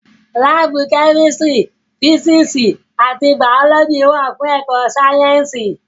Láàbù Kẹ́mísírì, físíìsì àti Bàọ́lọ́jì wà fún ẹ̀kọ sáyẹ́ǹsì